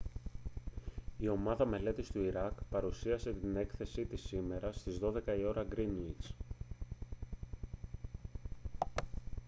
η ομάδα μελέτης του ιράκ παρουσίασε την έκθεση της σήμερα στις 12.00 ώρα γκρίνουιτς gmt